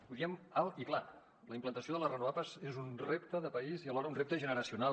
ho diem alt i clar la implantació de les renovables és un repte de país i alhora un repte generacional